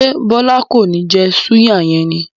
Se Bọlá kọ́ni ó ń jẹ́ súyà yẹn ni?